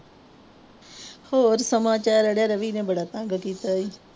ਹੋਰ ਸਮਾਚਾਰ ਅੜਿਆ ਰਵੀ ਨੇ ਬੜਾ ਤੰਗ ਕੀਤਾ ਸੀ।